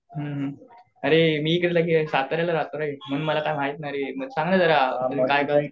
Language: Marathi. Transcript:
हुं अरे मी इकडे साताऱ्याला राहतो रे म्हणून मला काही माहित नाही. सांग ना जरा